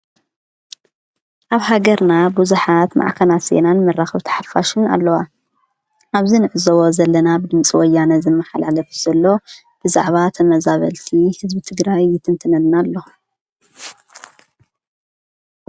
ኣብ ሃገርና ብዙሓት ማዕከናት ዜናን መራኽብቲ ሓፋሽን ኣለዋ፡፡ ኣብዚ ንሪኦ ዘለና ብድምፂ ወያነ ዝመሓላለፍ ዘሎ ብዛዕባ ተመዛበልቲ ህዝቢ ትግራይ ይትንትነልና ኣሎ፡፡